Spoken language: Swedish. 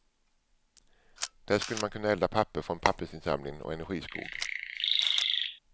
Där skulle man kunna elda papper från pappersinsamlingen och energiskog.